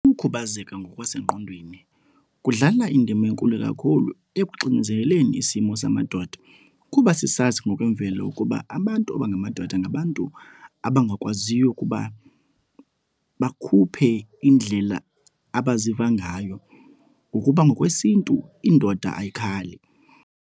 Ukukhubazeka ngokwasengqondweni kudlala indima enkulu kakhulu ekuxinzeleleni isimo samadoda kuba sisazi ngokwemvelo ukuba abantu abangamadoda ngabantu abangakwaziyo ukuba bakhuphe indlela abaziva ngayo ngokuba ngokwesiNtu, indoda ayikhali.